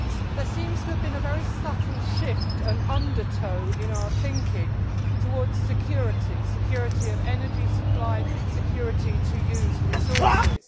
There seems to have been a very subtle shift an undertow in our thinking, towards security security of energy supply and security to use resources.